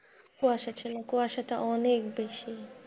কুয়াশা ছিল কুয়াশাটা অনেক বেশি।